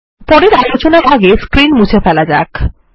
পরের আলোচনার আগে স্ক্রীন মুছে ফেলা যাক